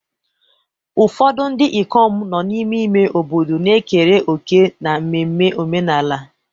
Ụfọdụ ndị ikom nọ n'ime ime obodo na-ekere òkè n'ememme omenala.